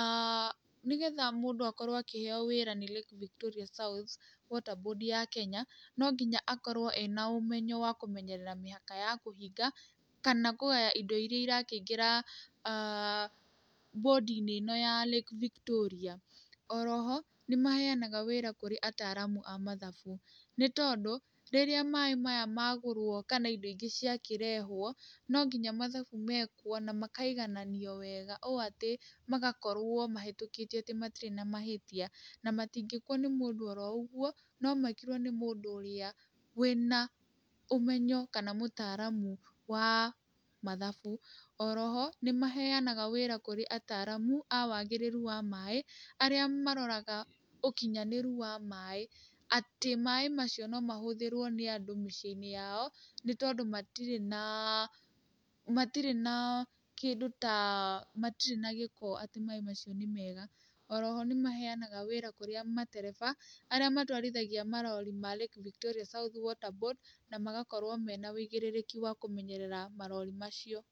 aah nĩ getha mũndũ akorwo akĩheyo wĩra nĩ Lake Victoria South Water Board ya Kenya, no nginya akorwo ena ũmenyo wa kũmenyerera mĩhaka ya kũhinga kana kũgaya indo iria irakĩingĩra aah Board inĩ ĩno ya Lake Victoria, oroho nĩ maheyanaga wĩra kũrĩ ataramu a mathabu, nĩ tondũ rĩrĩa maĩ maya magũrwo kana indo ingĩ cia kĩrehwo, no nginya mathabu mekwo na makaigananio wega ũũ atĩ magakorwo mahetũkĩtio atĩ matirĩ na mahĩtia, na matingĩkwo nĩ mũndũ oroũguo, no mekirwo nĩ mũndũ ũrĩa wĩna ũmenyo, kana mũtaramu wa mathabu, oroho nĩ maheyanaga wĩra kũrĩ ataramu, a wagĩrĩru wa maĩ, arĩa maroraga ũkinyhanĩru wa maĩ, atĩ maĩ macio no mahũthĩrwo nĩ andũ mĩciĩ-inĩ yao, nĩ tondũ matirĩ na matirĩ na kĩndũ taa, matirĩ na gĩko, atĩ maĩ macio nĩ mega, oroho nĩ maheyanaga wĩra kũrĩa matereba, arĩa matwarithagia marori ma Lake Victoria South Water Board na magakorwo mena wĩigĩrĩrĩki wa kũmenyerera marori macio.